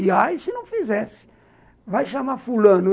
E aí, se não fizesse, vai chamar fulano.